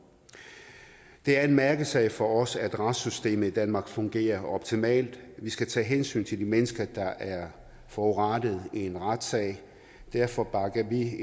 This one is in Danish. det er en mærkesag for os at retssystemet i danmark fungerer optimalt vi skal tage hensyn til de mennesker der er forurettede i en retssag derfor bakker vi i